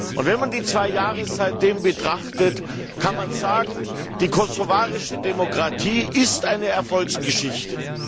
Und wenn man die zwei Jahre seitdem betrachtet, kann man sagen, die kosovarische Demokratie ist eine Erfolgsgeschichte!